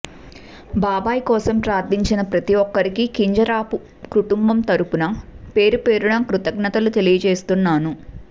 బాబాయ్ కోసం ప్రార్థించిన ప్రతీ ఒక్కరికీ కింజరాపు కుటుంబం తరఫున పేరుపేరునా కృతజ్ఞతలు తెలియజేస్తున్నాను